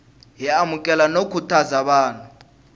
hi amukela no khutaza vanhu